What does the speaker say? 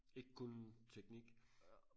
ikke kun teknik